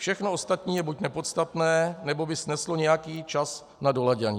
Všechno ostatní je buď nepodstatné, nebo by sneslo nějaký čas na doladění.